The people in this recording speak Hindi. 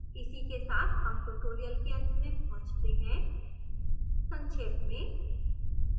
इसी के साथ हम tutorial के अंत में पहुँचते हैं संक्षेप में…